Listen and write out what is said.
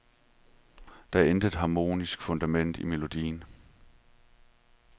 Der er intet harmonisk fundament i melodien.